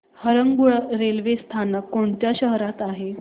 Harangul railway स्थानक कोणत्या शहरात आहे